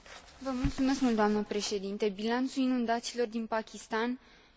Bilanțul inundațiilor din Pakistan este unul fără precedent.